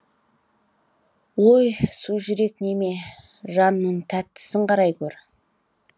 өй сужүрек неме жанының тәттісін қарай гөр